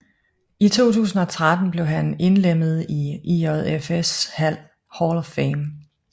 I 2013 blev han indlemmet i IJFs Hall of Fame